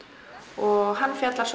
og hann fjallar